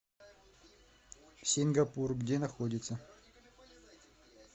сингапур где находится